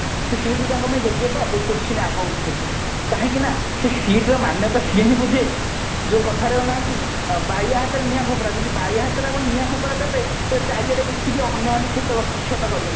ସେଇ seat ତାଙ୍କ ପାଇଁ ଯୋଗ୍ୟ ତ ଏଇ question ଆଗ ଉଠୁଛି କାହିଁକି ନା ସେଇ seat ର ମାନ୍ୟତା ସିଏ ହିଁ ବୁଝେ ଯୋଉ କଥାରେ ନାହାନ୍ତି ବାୟା ହାତରେ ନିଆଁ ଖପରା ଯଦି ବାୟା ହାତରେ ଆପଣ ନିଆଁ ଖପରା ଦେବେ ତେବେ ଚାରିଆଡେ ବିଚିକି ଅନ୍ୟ ମାନଙ୍କୁ କ୍ଷତ ବିକ୍ଷତ କରିବ